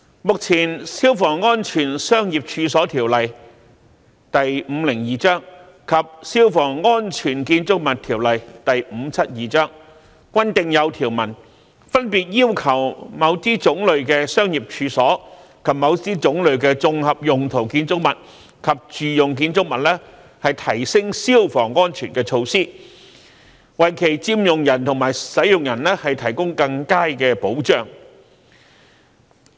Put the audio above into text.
目前，《消防安全條例》及《消防安全條例》均訂有條文，分別要求某些種類的商業處所，以及某些種類的綜合用途建築物及住用建築物提升消防安全的措施，為其佔用人和使用人提供更佳的保障。